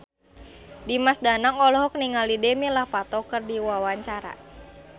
Dimas Danang olohok ningali Demi Lovato keur diwawancara